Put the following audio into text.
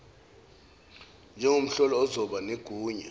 njengomhloli ozoba negunya